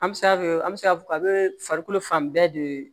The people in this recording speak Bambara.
An bɛ se an bɛ se k'a fɔ a bɛ farikolo fan bɛɛ de